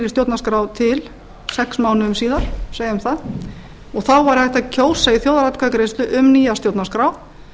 stjórnarskrá til sex mánuðum bíða segjum það þá væri hægt að kjósa í þjóðaratkvæðagreiðslu um nýja stjórnarskrá